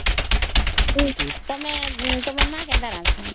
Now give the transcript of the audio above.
ତମର ମା କେନ୍ତା ରାନ୍ଧୁଛନ ?